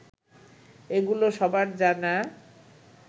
এগুলো সবার জানা